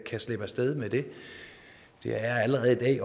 slippe af sted med det det er allerede i